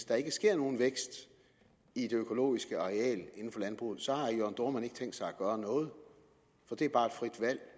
der ikke sker nogen vækst i det økologiske areal inden for landbruget så har herre jørn dohrmann ikke tænkt sig at gøre noget for det er bare et frit valg